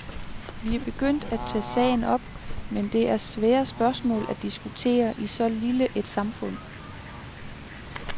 Vi er begyndt at tage sagen op, men det er svære spørgsmål at diskutere i så lille et samfund.